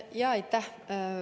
Aitäh!